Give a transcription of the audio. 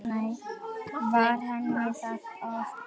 Var henni það of gott?